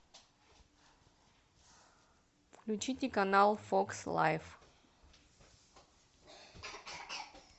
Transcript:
включите канал фокс лайф